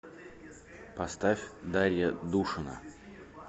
поставь дарья душина